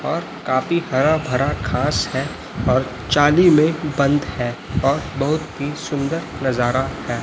और काफी हरा भरा घास है और जाली में बंद है और बहोत ही सुंदर नजारा हैं।